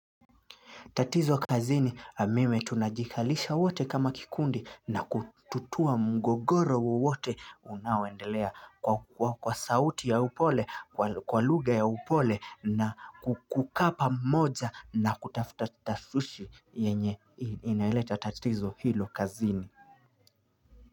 Tatizo kazini mimi tunajikalisha wote kama kikundi na kututua mgogoro wowote unaoendelea kwa sauti ya upole, kwa lugha ya upole na kukaa pamoja na kutafuta tasushi yenye inaeleta tatizo hilo kazini.